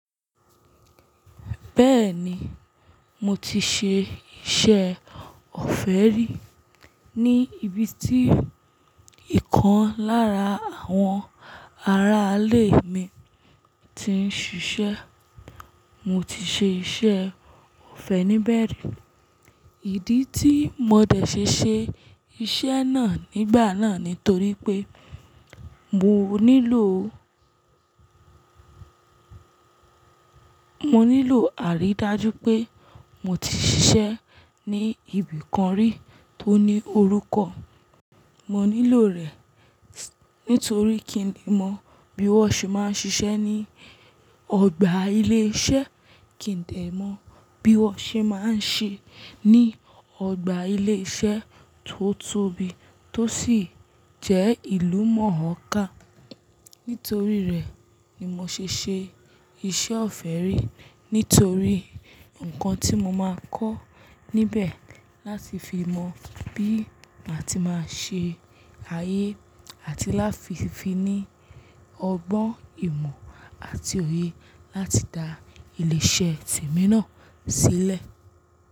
Bẹ́ẹ̀ni, mo ti ṣe iṣẹ́ ọ̀fẹ́ rí ní ibi tí ìkan lára àwọn aráalé mi ti ń ṣiṣẹ́. Mo ti ṣe iṣẹ́ ọ̀fẹ́ níbẹ̀ rí. Ìdí tí mo dẹ̀ ṣe ṣe iṣẹ́ náà nígbà náà ni torí pé mo nílò, mo nílò àrídájú pé mo ti ṣiṣẹ́ ní ibìkan rí tó ní orúkọ. Mo nílò rẹ̀ nitorí kí n le mọ bí wọ́n ṣe máa ń ṣiṣẹ́ ní ọgbà ilé iṣẹ́, kí n dè mọ bí wọ́n ṣe máa ń ṣe ní ọgbà ilé iṣẹ́ tó tóbi tó sì jẹ́ ìlú mọ̀ọ́ká. Nítorí rẹ̀ ni mo ṣe ṣe iṣẹ́ ọ̀fẹ́ rí, nítorí nǹkan tí mo máa kọ́ níbẹ̀ láti fi mọ bí màá ti máa ṣe ayé àti láti fi ní ọgbọ́n ìmọ̀ àti òye láti dá ilé iṣẹ́ temi náà sílẹ̀.